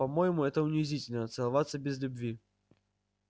по моему это унизительно целоваться без любви